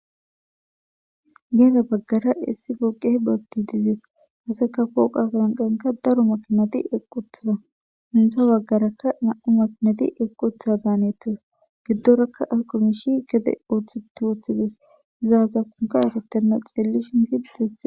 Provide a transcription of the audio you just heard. Geeda baggara issi poqeh boggi dizees haseka kooqa gaanqenka daro makinati eqqutiza mintha baggarakka na'u makinati eqquttiza gaanettes giddoraka aqumishi gede oothi tuuthides izaaza kunka yatattenna xeelli shinfidux.